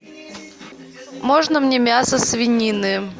можно мне мясо свинины